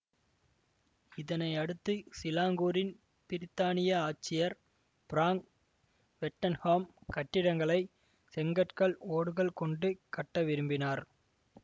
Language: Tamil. இதனையடுத்து சிலாங்கூரின் பிரித்தானிய ஆட்சியர் பிராங்க் ஸ்வெட்டன்ஹாம் கட்டிடங்களை செங்கற்கள் ஓடுகள் கொண்டு கட்ட விரும்பினார்